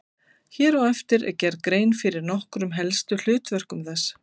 Hér á eftir er gerð grein fyrir nokkrum helstu hlutverkum þess.